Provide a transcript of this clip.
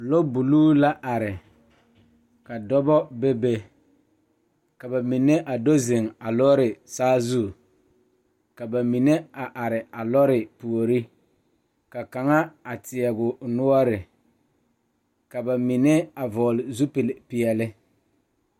Lɔre la are pegle sokoɔraa a zage zage o zaa kyɛ ka vūū kpimɛ meŋ are a be vūū kpimɛ vɔgle zupele doɔre kyɛ kaa vūū kpine lɔre are sokoɔraa zu kyɛ ka noba meŋ are a kaare.